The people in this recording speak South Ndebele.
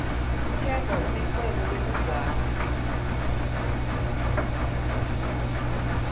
uthemba unerhwebo lokugwala